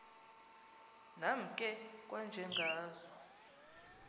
nam ke kwanjengazo